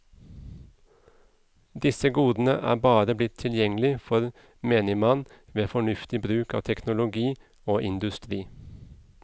Disse godene er bare blitt tilgjengelig for menigmann ved fornuftig bruk av teknologi og industri.